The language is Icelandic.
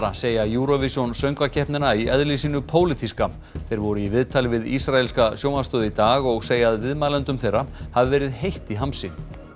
segja Eurovision söngvakeppnina í eðli sínu pólitíska þeir voru í viðtali við ísraelska sjónvarpsstöð í dag og segja að viðmælendum þeirra hafi verið heitt í hamsi